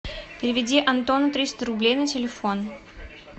переведи антону триста рублей на телефон